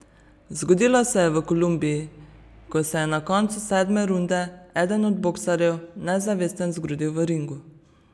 Zgodilo se je v Kolumbiji, ko se je na koncu sedme runde eden od boksarjev nezavesten zgrudil v ringu.